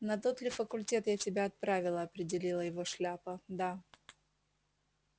на тот ли факультет я тебя отправила определила его шляпа да